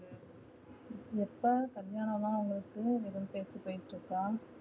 எப்ப கல்யாணம் லா உனக்கு எதா பேச்சு போயிட்டு இருக்கா